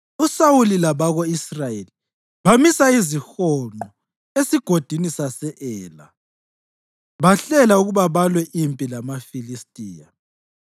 USawuli labako-Israyeli bamisa izihonqo eSigodini sase-Ela, bahlela ukuba balwe impi lamaFilistiya.